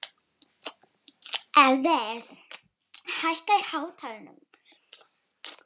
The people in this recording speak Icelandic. Steinar, hvaða myndir eru í bíó á sunnudaginn?